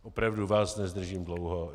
Opravdu vás nezdržím dlouho.